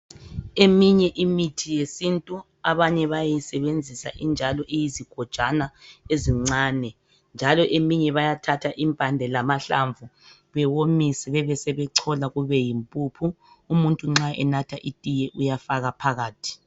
Imithi yesintu abanye bayayisebenzisa injalo iyizigojana ezincane njalo eminye bayathatha impande lamahlamvu bewomise bebesebechola kube yimpuphu umuntu nxa enatha itiye uyafaka phakathi